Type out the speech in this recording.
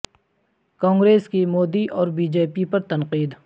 کانگریس کی مودی اور BJP پر تنقید